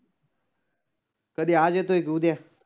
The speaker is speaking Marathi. कधी आज येतोय का उद्या?